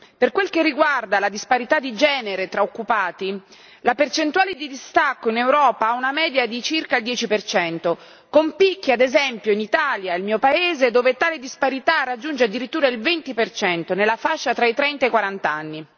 Per quel che riguarda la disparità di genere tra occupati, la percentuale di distacco in Europa ha una media di circa il 10 per cento con picchi, ad esempio, in Italia, il mio paese, dove tale disparità raggiunge addirittura il 20 per cento nella fascia tra i trenta e i quarant'anni.